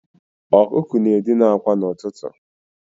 Ọkụkọ na-edina akwa n'ụtụtụ.